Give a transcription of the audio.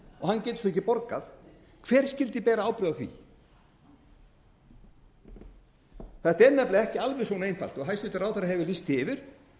getur ekki borgað hver skyldi bera ábyrgð á því þetta er nefnilega ekki alveg svona einfalt og hæstvirtur ráðherra hefur lýst því yfir